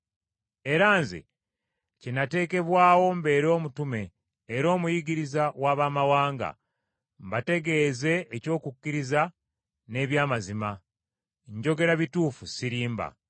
Era nze kye nateekebwawo mbeere omutume era omuyigiriza w’Abamawanga, mbategeeze eby’okukkiriza n’eby’amazima; njogera bituufu sirimba.